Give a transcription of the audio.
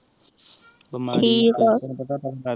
ਠੀਕ ਆਹ